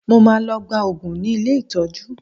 Mo máa lọ gba òògùn ní ilé ìtọ́jú